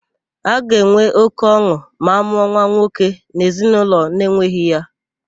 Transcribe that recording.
A ga-enwe óké ọn̄ụ ma a mụọ nwa nwoke n'ezinaụlọ na-enweghị ya.